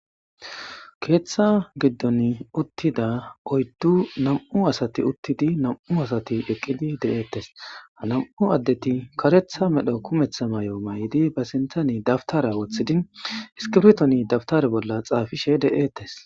keeththa giddon uttida oyddu nam7u asati uttidi nam7u asati eqqidi de7eettes ha nam7u addeti karetha medho kumeththa may7o may7idi ba sintani dabtara woththidi iskiftoni dabtar bolla xaafishe de7eettes